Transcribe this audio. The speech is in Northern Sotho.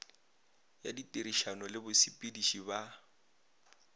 ya ditirišano le basepediši ba